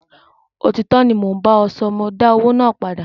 Òtítọ́ ni mo ń bá ọ sọ, mọ dá owó náà padà.